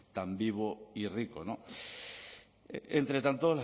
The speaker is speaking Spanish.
tan vivo y rico entre tanto